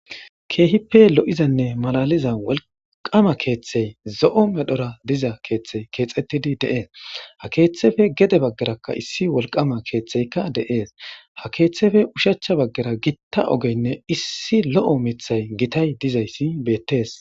Keehipe lo'izane malaaliza wolqama keethay zo'o medhora diza keethay keexetidi de'es ha keethape gede bagaraka issi wolqama keethay de'es ha keethape ushachi bagera gita ogene issi lo'o mithay gitay dizaysi beetes.